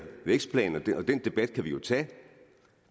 vækstplan og den debat kan vi jo tage